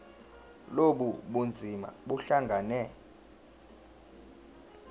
lobu bunzima buhlangane